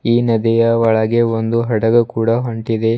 ಈ ನದಿಯ ಒಳಗೆ ಒಂದು ಹಡಗು ಕೂಡ ಹೊಂಟಿದೆ.